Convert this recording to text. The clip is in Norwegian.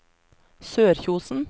Sørkjosen